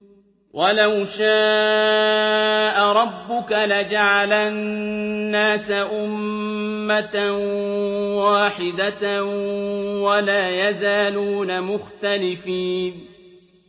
وَلَوْ شَاءَ رَبُّكَ لَجَعَلَ النَّاسَ أُمَّةً وَاحِدَةً ۖ وَلَا يَزَالُونَ مُخْتَلِفِينَ